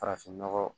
Farafinnɔgɔ